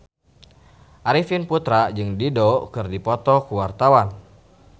Arifin Putra jeung Dido keur dipoto ku wartawan